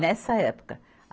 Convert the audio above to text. Nessa época.